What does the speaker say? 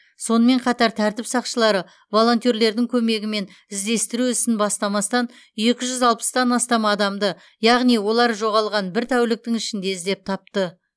сонымен қатар тәртіп сақшылары волонтерлердің көмегімен іздестіру ісін бастамастан екі жүз алпыстан астам адамды яғни олар жоғалған бір тәуліктің ішінде іздеп тапты